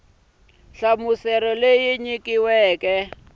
leyi nyikiweke ku ya hi